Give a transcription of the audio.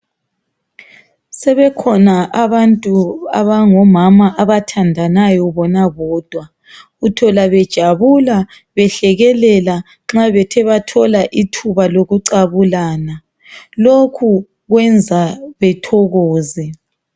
Sebekhona abantu abangomama abathandanayo bona bodwa uthola bejabula behlekelela nxa bethe bathola ithuba lokucabulana lokhu kwenza bethokoze.